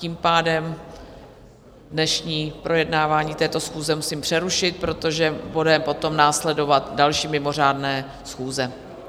Tím pádem dnešní projednávání této schůze musím přerušit, protože budou potom následovat další mimořádné schůze.